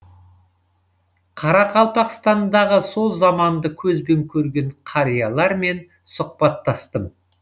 қарақалпақстандағы сол заманды көзбен көрген қариялармен сұхбаттастым